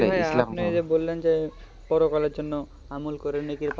আপনি বললেন যে পরকালের জন্যে আমন করি